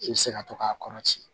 I bɛ se ka to k'a kɔrɔti